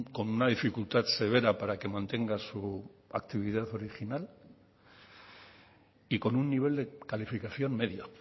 con una dificultad severa para que mantenga su actividad original y con un nivel de calificación medio